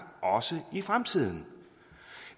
også i fremtiden